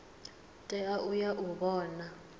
tea u ya u vhona